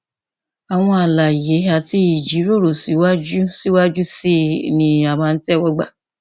àwọn àlàyé àti ìjíròrò síwájú síwájú sí i ni a máa ń tẹwọ gbà